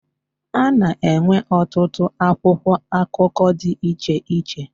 A na-enwe ọtụtụ akwụkwọ akụkọ dị iche iche.